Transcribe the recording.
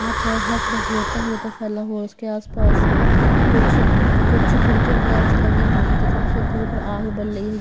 यहां पर हर तरफ रेता ही रेता फैला हुआ उसके आसपास कुछ कुछ खिड़कियां वगैरह सी लगी हुई हैं तथा उस ऊपर आग बल रही है।